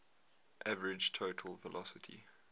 average total velocity